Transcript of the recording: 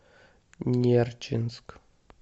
нерчинск